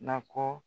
Nakɔ